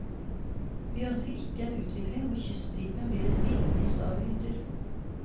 Vi ønsker ikke en utvikling hvor kyststripen blir et villnis av hytter.